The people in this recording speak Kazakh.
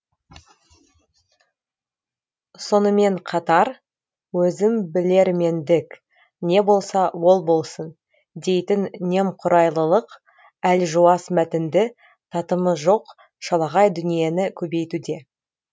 сонымен қатар өзімбілермендік не болса ол болсын дейтін немқұрайлылық әлжуаз мәтінді татымы жоқ шалағай дүниені көбейтуде